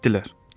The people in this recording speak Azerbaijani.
Getdilər.